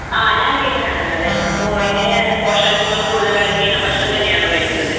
ആ. ഞാൻ വീട്ടിലാണുള്ളത്. അപ്പോൾ എങ്ങനെയാണ്? പോഷകങ്ങൾ കൂടുതൽ അടങ്ങിയ ഭക്ഷണം തന്നെയാണോ കഴിക്കുന്നത്?